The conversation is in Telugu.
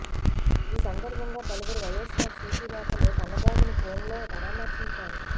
ఈ సందర్భంగా పలువురు వైఎస్సార్ సీపీ నేతలు కన్నబాబును ఫోన్లో పరామర్శించారు